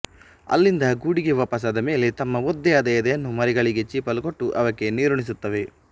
ಅಲ್ಲಿಂದ ಗೂಡಿಗೆ ವಾಪಸಾದ ಮೇಲೆ ತಮ್ಮ ಒದ್ದೆಯಾದ ಎದೆಯನ್ನು ಮರಿಗಳಿಗೆ ಚೀಪಲು ಕೊಟ್ಟು ಅವಕ್ಕೆ ನೀರುಣಿಸುತ್ತವೆ